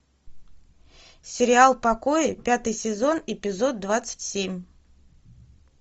сериал покои пятый сезон эпизод двадцать семь